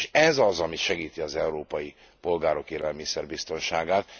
És ez az, ami segíti az európai polgárok élelmiszer biztonságát.